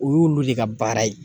O y'olu de ka baara ye